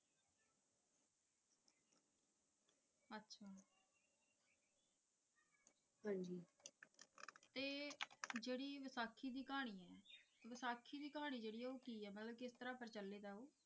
ਤੇ ਜਿਹੜੀ ਵਿਸਾਖੀ ਦੀ ਕਹਾਣੀ ਐ ਵਿਸਾਖੀ ਦੀ ਕਹਾਣੀ ਜਿਹੜੀ ਆ ਉਹ ਕੀ ਐ ਮਤਲਬ ਕਿਸ ਤਰਾਂ ਪ੍ਰਚਲਿਤ ਆ ਉਹ